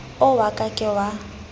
o wa ka ke wa